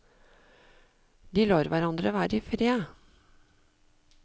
De lar hverandre være i fred.